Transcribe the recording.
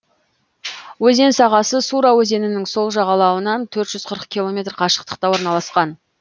өзен сағасы сура өзенінің сол жағалауынан төрт жүз қырық километр қашықтықта орналасқан